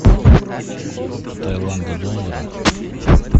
джой валюта таиланда доллары